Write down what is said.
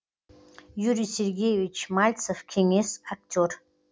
юрий сергеевич мальцев кеңес актер